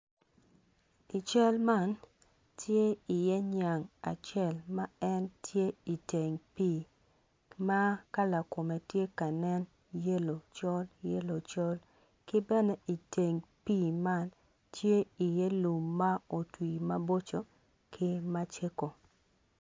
I cal man tye iye ngat acel ma tye i teng pii ma kala kome tye ka nen yelo col yelo col ki bene i teng pii man tye iye lum ma otwi maboco ki ma cego.